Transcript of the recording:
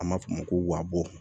An b'a fɔ ma ko wabɔ